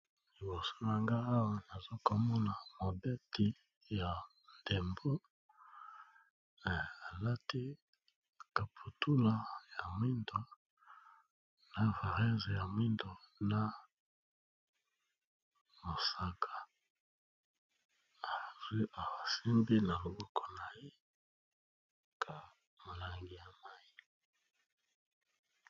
Liboso na nga awa nazokomona babeti ya ndembo alati caputula ya mwindo na varese ya mwindo na mosaka azwi asimbi na loboko na ye ka molangi ya mayi.